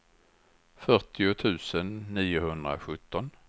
fyrtio tusen niohundrasjutton